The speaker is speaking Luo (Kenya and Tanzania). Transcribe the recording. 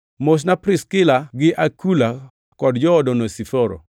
Mosna Priskila gi Akula, kod jood Onesiforo.